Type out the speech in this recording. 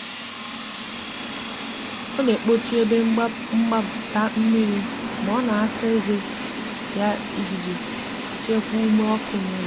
ọ na akpochi ebe mgbata mmiri ma ọ na asa eze yaijii chekwaa ume ọkụ n'ulo